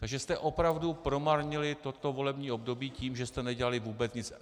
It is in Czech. Takže jste opravdu promarnili toto volební období tím, že jste nedělali vůbec nic.